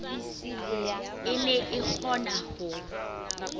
e ne e kgona ho